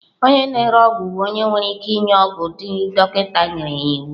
Onye na-ere ọgwụ bụ onye nwere ike ịnye ọgwụ ndị dọkịta nyere ya iwu.